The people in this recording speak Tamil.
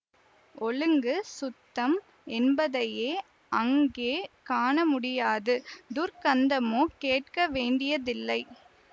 ஒழுங்கு சுத்தம் என்பதையே அங்கே காணமுடியாது துர்க்கந்தமோ கேட்க வேண்டியதில்லை